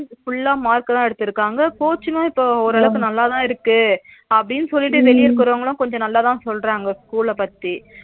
Full uh mark தா எடுத்துருக்காங்க coaching இப்ப ஓரளவு நல்லாதா இருக்கு அபிடின்னு சொல்லிட்டு வெளியூர் போறவங்களா கொஞ்சம் நல்லாதா சொல்றாங்க school ல பத்தி